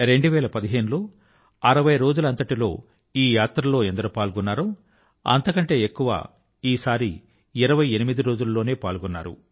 2015 లో 60 రోజుల లో ఈ యాత్ర లో ఎంత మంది పాల్గొన్నారో అంతకంటే ఎక్కువగా ఈ సారి 28 రోజుల లోనే పాల్గొన్నారు